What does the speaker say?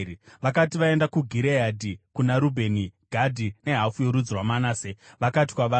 Vakati vaenda kuGireadhi, kuna Rubheni, Gadhi nehafu yorudzi rwaManase, vakati kwavari,